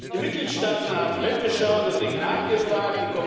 Die Mitgliedstaaten haben weggeschaut und nicht nachgefragt.